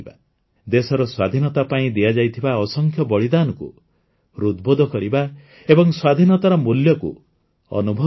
ଦେଶର ସ୍ୱାଧୀନତା ପାଇଁ ଦିଆଯାଇଥିବା ଅସଂଖ୍ୟ ବଳିଦାନକୁ ହୃଦ୍ବୋଧ କରିବା ଏବଂ ସ୍ୱାଧୀନତାର ମୂଲ୍ୟକୁ ଅନୁଭବ କରିବା